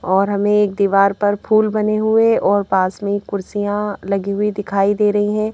और हमें एक दीवार पर फूल बने हुए और पास में ही कुर्सियां लगी हुई दिखाई दे रही हैं।